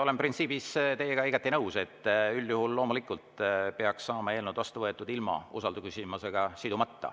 Olen printsiibis teiega igati nõus, üldjuhul loomulikult peaks saama eelnõud vastu võetud ilma usaldusküsimusega sidumata.